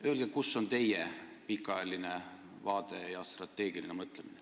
Öelge, kus on teie pikaajaline vaade ja strateegiline mõtlemine.